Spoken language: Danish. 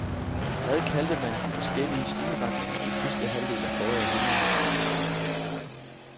Hvad kaldte man de forskellige stilretninger i sidste halvdel af forrige århundrede?